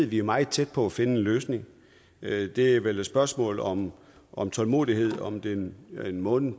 vi er meget tæt på at finde en løsning det er vel et spørgsmål om om tålmodighed om det er en måned